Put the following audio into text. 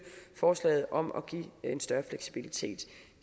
forslaget om at give en større fleksibilitet